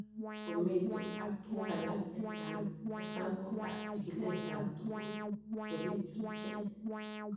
Komitu ak tuguk alak chechang' hesabuk ak chig'ilet ab tuguk che kichutchi